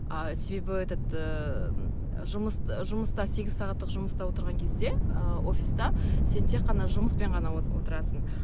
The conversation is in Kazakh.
а себебі этот ыыы жұмыс жұмыста сегіз сағаттық жұмыста отырған кезде ыыы офиста сен тек қана жұмыспен ғана отырасың